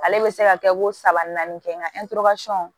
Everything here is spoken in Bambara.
Ale bɛ se ka kɛ ko saba naani kɛ nga